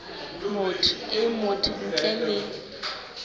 motho e mong ntle le